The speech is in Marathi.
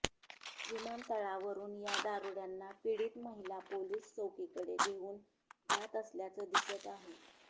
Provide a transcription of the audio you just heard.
विमानतळावरुन या दारुड्यांना पीडित महिला पोलीस चौकीकडे घेऊन जात असल्याचं दिसत आहे